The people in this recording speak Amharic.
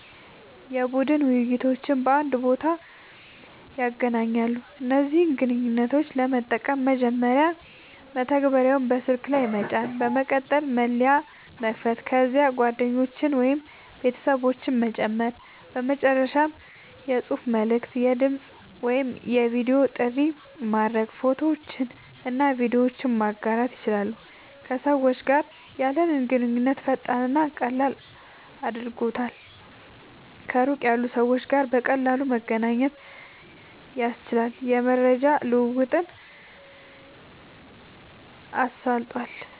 የቡድን ውይይቶችን በአንድ ቦታ ያገናኛሉ። እነዚህን ግንኙነቶች ለመጠቀም፦ መጀመሪያ መተግበሪያውን በስልክ ላይ መጫን፣ በመቀጠል መለያ መክፈት፣ ከዚያም ጓደኞችን ወይም ቤተሰቦችን መጨመር፣ በመጨረሻም የጽሑፍ መልዕክት፣ የድምጽ ወይም የቪዲዮ ጥሪ ማድረግ፣ ፎቶዎችንና ቪዲዮዎችን ማጋራት ይችላሉ። ከሰዎች ጋር ያለንን ግንኙነት ፈጣንና ቀላል አድርጓል፣ ከሩቅ ያሉ ሰዎች ጋር በቀላሉ መገናኘት አስችሏል፣ የመረጃ ልዉዉጥን አሳልጧል